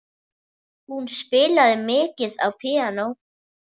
Hún spilaði mikið á píanó.